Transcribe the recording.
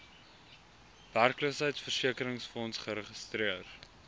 werkloosheidversekeringsfonds geregistreer